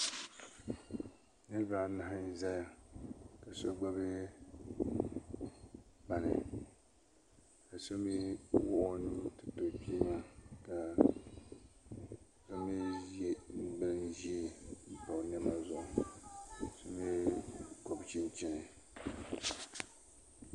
Niriba anahi n zaya ka so gbibi kpani ka so mee wuɣi o nuu tiriti o kpee maa ka o mee ye bin ʒee m pa o niɛma zuɣu ka so mee gɔbi chinchini.